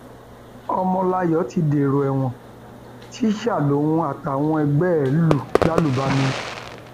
ọmọláyọ ti dèrò ẹwọn tíṣà um lòun àtàwọn ẹgbẹ ẹ lù lálùbami um